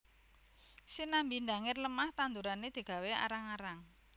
Sinambi ndangir lemah tandurane digawé arang arang